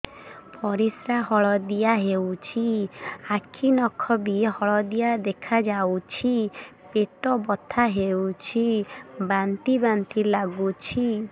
ପରିସ୍ରା ହଳଦିଆ ହେଉଛି ଆଖି ନଖ ବି ହଳଦିଆ ଦେଖାଯାଉଛି ପେଟ ବଥା ହେଉଛି ବାନ୍ତି ବାନ୍ତି ଲାଗୁଛି